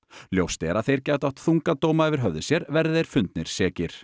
ljóst er að þeir gætu átt þunga dóma yfir höfði sér verði þeir fundnir sekir